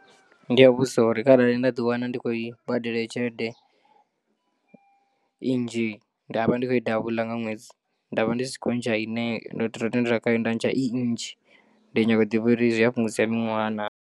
Ndi a vhudzisa uri kharali nda ḓi wana ndi khou badela heyo tshelede, i nnzhi ndavha ndi kho i double nga ṅwedzi ndavha ndi si khou ntsha ine ndo ro tendela khayo nda ntsha i nnzhi ndi nyanga u ḓivha uri zwi a fhungudza miṅwaha naa.